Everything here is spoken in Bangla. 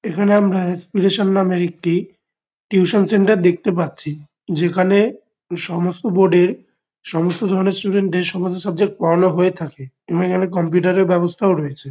এখানে আমরা আনস্পিরেশান নামের একটি টিউশন সেন্টার দেখতে পাচ্ছি। যেখানে সমস্ত বোর্ড -এর সমস্ত ধরণের স্টুডেন্ট -দের সমস্ত সাবজেক্ট পোড়ানো হয়ে থাকে এবং এখানে কম্পিউটার -এর ব্যবস্থাও রয়েছে।